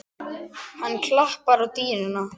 Hann klappar á dýnuna.